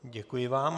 Děkuji vám.